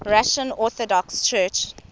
russian orthodox church